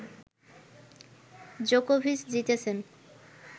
জোকোভিচ জিতেছেন